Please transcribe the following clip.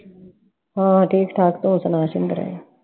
ਹਾਂ ਠੀਕ ਠਾਕ ਤੂੰ ਸੁਣਾ ਸ਼ਿੰਦਰੇ?